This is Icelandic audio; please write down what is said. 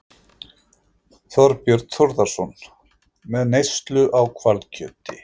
Þorbjörn Þórðarson: Með neyslu á hvalkjöti?